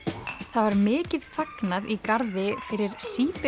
það var mikið fagnað í garði fyrir